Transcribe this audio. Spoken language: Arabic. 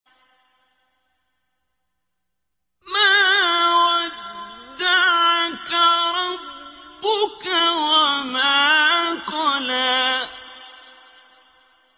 مَا وَدَّعَكَ رَبُّكَ وَمَا قَلَىٰ